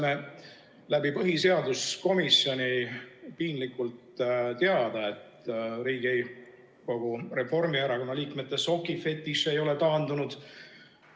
Me saime põhiseaduskomisjoni kaudu piinlikult teada, et Riigikogu Reformierakonna liikmete sokifetiš ei ole taandunud.